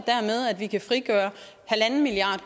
at vi kan frigøre en milliard